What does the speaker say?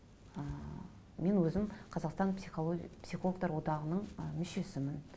ы мен өзім қазақстан психологтар одағының ы мүшесімін